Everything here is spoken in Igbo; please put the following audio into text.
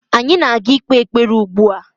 Anyị na ga ikpe ekpere now.